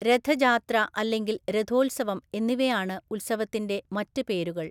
രഥജാത്ര അല്ലെങ്കിൽ രഥോത്സവം എന്നിവയാണ് ഉത്സവത്തിന്റെ മറ്റ് പേരുകൾ.